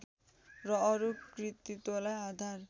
र अरू कृतित्वलाई आधार